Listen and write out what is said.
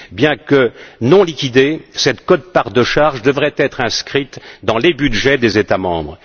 Bien que non liquidée, cette quote part de charges devrait être inscrite dans les budgets des États membres.